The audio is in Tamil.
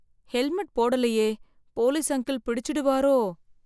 ஹெல்மெட் போடலையே போலீஸ் அங்கிள் பிடிச்சிடுவாரோ.